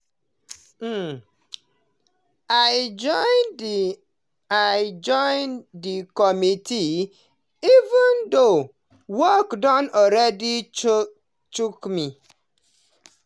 um i join the i join the committee even though work don already choke me.